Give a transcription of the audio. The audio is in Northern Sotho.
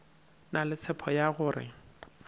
na le tshepo ya gore